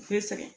U bɛ sɛgɛn